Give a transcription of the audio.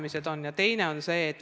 Nii et pank ja KredEx koostöös.